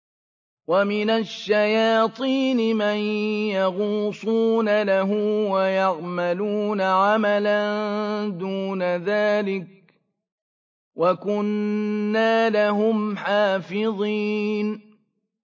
وَمِنَ الشَّيَاطِينِ مَن يَغُوصُونَ لَهُ وَيَعْمَلُونَ عَمَلًا دُونَ ذَٰلِكَ ۖ وَكُنَّا لَهُمْ حَافِظِينَ